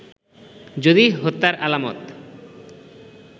যদি হত্যার আলামত